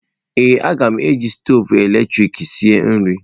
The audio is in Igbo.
Ee, m ga-eji stoovu eletrik esi nri.